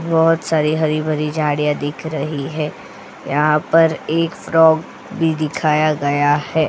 बहुत सारी हरी भरी झाड़ियां दिख रही है यहां पर एक फ्रॉग भी दिखाया गया है.